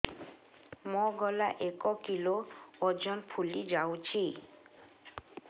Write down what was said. ମୋ ଗଳା ଏକ କିଲୋ ଓଜନ ଫୁଲି ଯାଉଛି